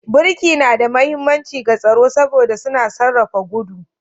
Birki na da mahimmanci ga tsaro saboda suna sarrafa gudu